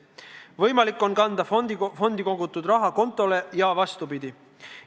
Võimalik on kanda fondi kogutud raha kontole ja vastupidi.